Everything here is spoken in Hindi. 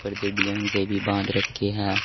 प्रत्येक डिजाइन से भी बांध रखी है।